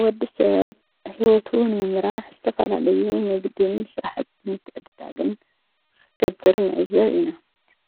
ወዲ ሰብ ሕይወቱ ንምምራሕ ዝተተፋላለዩ ንግድን ስራሕቲ ምትዕድዳግን ኽገብር ዕዘብ ኢና፡፡